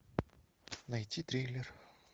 найти триллер